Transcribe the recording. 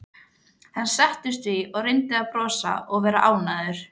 Hann settist því og reyndi að brosa og vera ánægður.